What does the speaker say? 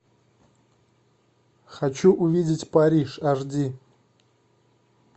хочу увидеть париж аш ди